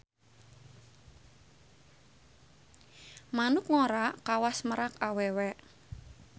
Manuk ngora kawas merak awewe.